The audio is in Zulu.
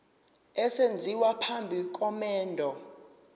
esenziwa phambi komendo